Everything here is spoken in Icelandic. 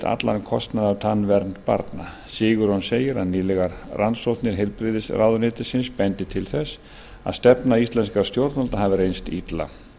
allan kostnað af tannvernd barna sigurjón segir að nýlegar rannsóknir heilbrigðisráðuneytisins bendi til þess að stefna íslenskra stjórnvalda hafi reynst illa